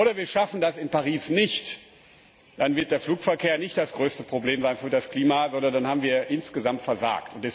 Oder wir schaffen das in Paris nicht, dann wird der Flugverkehr nicht das größte Problem für das Klima sein, sondern dann haben wir insgesamt versagt.